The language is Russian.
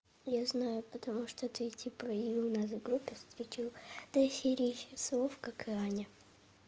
я знаю потому что ты типа и у нас в группе встретил до херища слоа как и аня